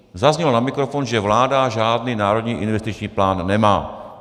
Zaznělo na mikrofon, že vláda žádný národní investiční plán nemá.